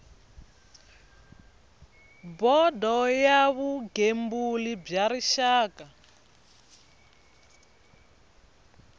bodo ya vugembuli bya rixaka